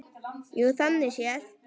Jú, þannig séð.